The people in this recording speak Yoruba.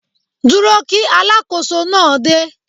Dúró kí Alákóso náà dé.